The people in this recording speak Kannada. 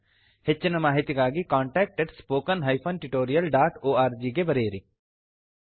ಹೆಚ್ಚಿನ ಮಾಹಿತಿಗಾಗಿ contactspoken tutorialorg ಗೆ ಬರೆಯಿರಿ